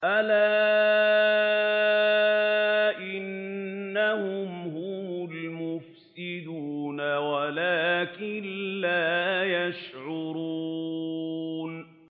أَلَا إِنَّهُمْ هُمُ الْمُفْسِدُونَ وَلَٰكِن لَّا يَشْعُرُونَ